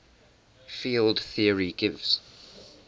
field theory gives